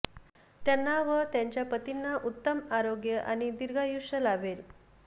त्यांना व त्यांच्या पतींना उत्तम आरोग्य आणि दीर्घायुष्य लाभेल